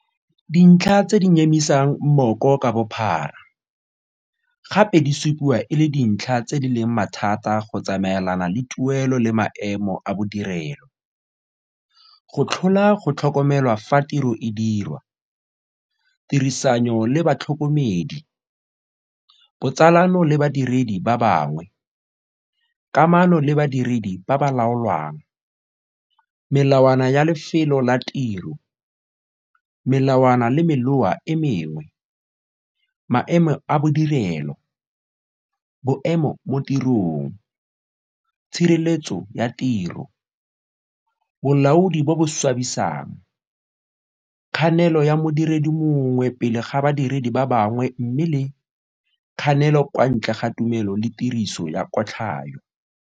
Dintlha tse di nyemisang mmoko ka bophara, gape di supiwa e le dintlha tse di leng mathata go tsamaelana le tuelo le maemo a bodirelo, go tlhola go tlhokomelwa fa tiro e dirwa, tirisanyo le batlhokomedi, botsalano le badiredi ba bangwe, kamano le badiredi ba ba laolwang, melawana ya lefelo la tiro, melawana le meloa e mengwe, maemo a bodirelo, boemo mo tirong, tshireletso ya tiro, bolaodi bo bo swabisang, kganelo ya modiredi mongwe pele ga ba badiredi ba bangwe mme le, kganelo kwa ntle ga tumelo le tiriso ya kotlhayo.